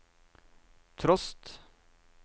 trost